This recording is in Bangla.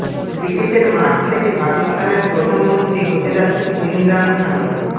ক্রিকেটের মাঠ থেকে পাকিস্তানের প্রধানমন্ত্রী হতে যাচ্ছেন ইমরান খান